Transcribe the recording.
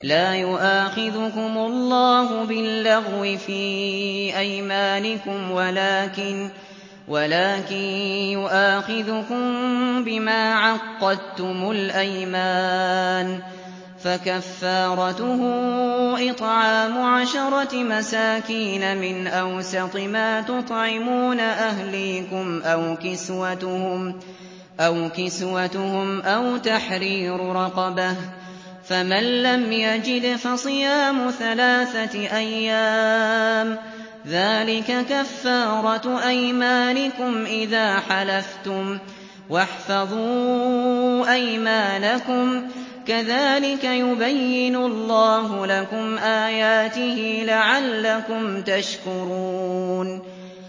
لَا يُؤَاخِذُكُمُ اللَّهُ بِاللَّغْوِ فِي أَيْمَانِكُمْ وَلَٰكِن يُؤَاخِذُكُم بِمَا عَقَّدتُّمُ الْأَيْمَانَ ۖ فَكَفَّارَتُهُ إِطْعَامُ عَشَرَةِ مَسَاكِينَ مِنْ أَوْسَطِ مَا تُطْعِمُونَ أَهْلِيكُمْ أَوْ كِسْوَتُهُمْ أَوْ تَحْرِيرُ رَقَبَةٍ ۖ فَمَن لَّمْ يَجِدْ فَصِيَامُ ثَلَاثَةِ أَيَّامٍ ۚ ذَٰلِكَ كَفَّارَةُ أَيْمَانِكُمْ إِذَا حَلَفْتُمْ ۚ وَاحْفَظُوا أَيْمَانَكُمْ ۚ كَذَٰلِكَ يُبَيِّنُ اللَّهُ لَكُمْ آيَاتِهِ لَعَلَّكُمْ تَشْكُرُونَ